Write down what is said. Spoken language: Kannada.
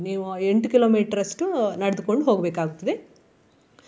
ನೀವು ಆ ಎಂಟು kilometre ಅಷ್ಟು ನಡ್ದುಕೊಂಡು ಹೋಗ್ಬೇಕಾಗುತ್ತದೆ.